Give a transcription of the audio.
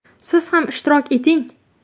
Siz ham ishtirok eting!